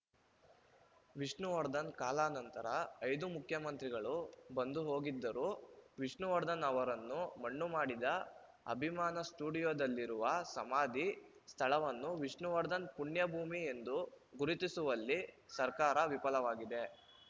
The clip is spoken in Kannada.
ವಿಷ್ಣುವರ್ಧನ್‌ ಕಾಲಾನಂತರ ಐದು ಮುಖ್ಯಮಂತ್ರಿಗಳು ಬಂದು ಹೋಗಿದ್ದರೂ ವಿಷ್ಣುವರ್ಧನ್‌ ಅವರನ್ನು ಮಣ್ಣುಮಾಡಿದ ಅಭಿಮಾನ ಸ್ಟುಡಿಯೋದಲ್ಲಿರುವ ಸಮಾಧಿ ಸ್ಥಳವನ್ನು ವಿಷ್ಣುವರ್ಧನ್‌ ಪುಣ್ಯಭೂಮಿ ಎಂದು ಗುರುತಿಸುವಲ್ಲಿ ಸರ್ಕಾರ ವಿಫಲವಾಗಿದೆ